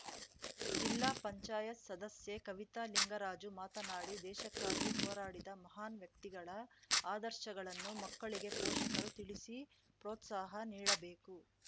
ಜಿಲ್ಲಾ ಪಂಚಾಯತ್ ಸದಸ್ಯೆ ಕವಿತಾ ಲಿಂಗರಾಜು ಮಾತನಾಡಿ ದೇಶಕ್ಕಾಗಿ ಹೋರಾಡಿದ ಮಹಾನ್‌ ವ್ಯಕ್ತಿಗಳ ಆದರ್ಶಗಳನ್ನು ಮಕ್ಕಳಿಗೆ ಪೋಷಕರು ತಿಳಿಸಿ ಪೋ ತ್ಸಾಹ ನೀಡಬೇಕು